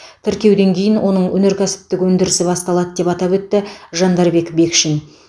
тіркеуден кейін оның өнеркәсіптік өндірісі басталады деп атап өтті жандарбек бекшин